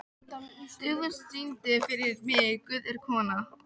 Dufgus, syngdu fyrir mig „Guð er kona“.